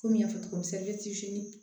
Komi n y'a fɔ cogo min